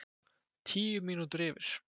Tíu mínútur yfir